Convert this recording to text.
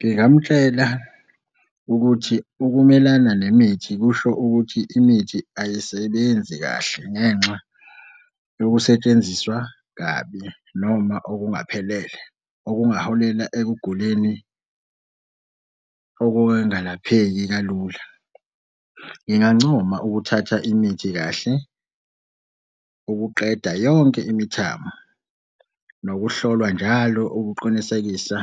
Ngingamtshela ukuthi ukumelana nemithi kusho ukuthi imithi ayisebenzi kahle ngenxa yokusetshenziswa kabi noma okungaphelele, okungaholela ekuguleni okungalapheki kalula. Ngingancoma ukuthatha imithi kahle ukuqeda yonke imithamo nokuhlolwa njalo ukuqinisekisa